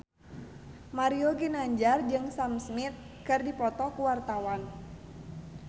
Mario Ginanjar jeung Sam Smith keur dipoto ku wartawan